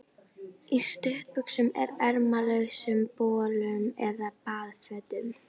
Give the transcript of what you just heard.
Í stuttbuxum og ermalausum bolum eða baðfötum.